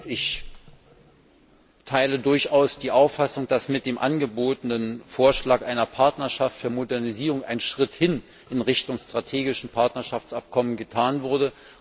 Ich teile durchaus die Auffassung, dass mit dem angebotenen Vorschlag einer Partnerschaft für Modernisierung ein Schritt hin in Richtung strategisches Partnerschaftsabkommen getan wurde.